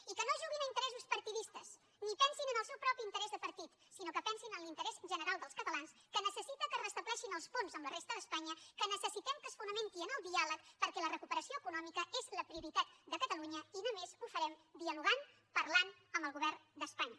i que no juguin a interessos partidistes ni pensin en el seu propi interès de partit sinó que pensin en l’interès general dels catalans que necessiten que es restableixin els ponts amb la resta d’espanya que necessitem que es fonamenti en el diàleg perquè la recuperació econòmica és la prioritat de catalunya i només ho farem dialogant parlant amb el govern d’espanya